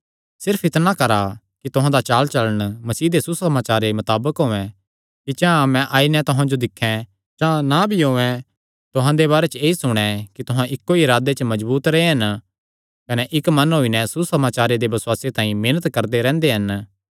सिर्फ इतणा करा कि तुहां दा चालचलण मसीह दे सुसमाचारे मताबक होयैं कि चां मैं आई नैं तुहां जो दिक्खैं चां ना भी औयें तुहां दे बारे च ऐई सुणैं कि तुहां इक्को ई इरादे च मजबूत रेह्आ कने इक्क मन होई नैं सुसमाचार दे बसुआसे तांई मेहनत करदे रैंह्दे हन